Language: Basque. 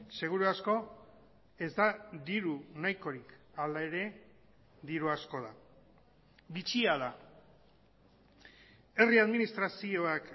seguru asko ez da diru nahikorik hala ere diru asko da bitxia da herri administrazioak